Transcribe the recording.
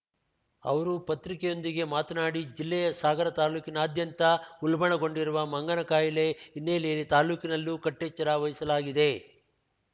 ಅವರು ಪತ್ರಿಕೆಯೊಂದಿಗೆ ಮಾತನಾಡಿ ಜಿಲ್ಲೆಯ ಸಾಗರ ತಾಲೂಕಿನಾದ್ಯಂತ ಉಲ್ಬಣಗೊಂಡಿರುವ ಮಂಗನ ಕಾಯಿಲೆ ಹಿನ್ನೆಲೆಯಲ್ಲಿ ತಾಲೂಕಿನಲ್ಲೂ ಕಟ್ಟೆಚ್ಚರ ವಹಸಲಾಗಿದೆ